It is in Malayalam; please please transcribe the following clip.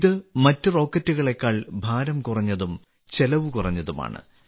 ഇത് മറ്റ് റോക്കറ്റുകളേക്കാൾ ഭാരം കുറഞ്ഞതും ചെലവ്കുറഞ്ഞതുമാണ്